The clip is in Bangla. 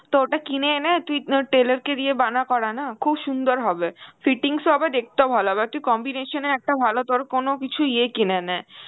তো ওটা কিনে এনে তুই কোন tailor কে দিয়ে বানা করা না খুব সুন্দর হবে, fittings ও হবে, আর দেখতেও ভালো হবে আর তুই combination এ একটা ভালো তোর কোন কিছু ইয়ে কিনে নে